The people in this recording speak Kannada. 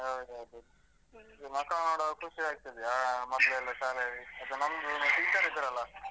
ಹೌದು ಅದೇ. ಇಲ್ಲಿ ಮಕ್ಕಳ್ನ ನೋಡುವಾಗ ಖುಷಿ ಆಗ್ತದೆ ಆ ಮಕ್ಳೆಲ್ಲ ಶಾಲೆ ನಮ್ದು teacher ಇದ್ರಲ್ಲ.